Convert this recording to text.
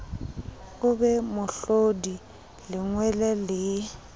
o be mohlodi lengwele le